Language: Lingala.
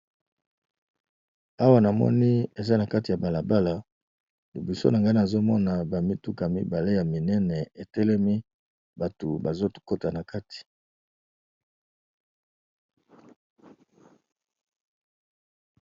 Awa Na moni Eza na kati ya balabala Eza ba mutuka muñene batu bazo Kota n'a kati